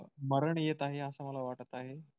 मरण येत आहे असं मला वाटत आहे.